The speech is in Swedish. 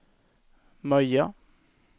Möja